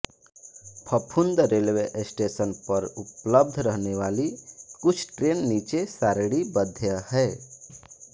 Phaphund railway station पर उपलब्ध रहने वाली कुछ ट्रेन नीचे सारिणीबध्य हैं